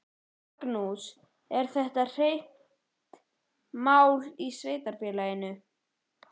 Magnús: Er þetta heitt mál í sveitarfélaginu?